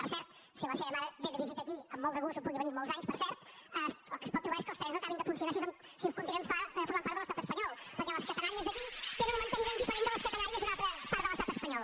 per cert si la seva mare ve de visita aquí amb molt de gust hi pugui venir molts anys per cert el que es pot trobar és que els trens no acabin de funcionar si continuem formant part de l’estat espanyol perquè les catenàries d’aquí tenen un manteniment diferent de les catenàries d’una altra part de l’estat espanyol